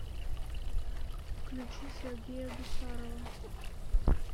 включи сергея гусарова